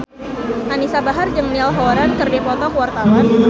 Anisa Bahar jeung Niall Horran keur dipoto ku wartawan